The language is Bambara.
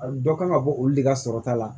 Dɔ kan ka bɔ olu de ka sɔrɔta la